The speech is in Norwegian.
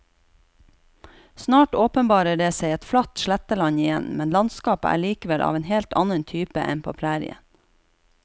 Snart åpenbarer det seg et flatt sletteland igjen, men landskapet er likevel av en helt annen type enn på prærien.